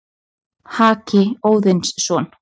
Haki Óðinsson,